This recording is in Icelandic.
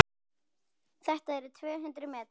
Þetta eru tvö hundruð metrar.